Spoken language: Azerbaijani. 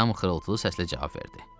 Adam xırıltılı səslə cavab verdi.